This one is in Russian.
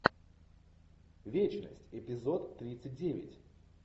вечность эпизод тридцать девять